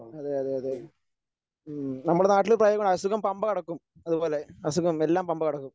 അതെയതെ അതെ ഉം നമ്മടെ നാട്ടില് അസുഖം പമ്പ കടക്കും അതുപോലെ അസുഖം എല്ലാം പമ്പകടക്കും.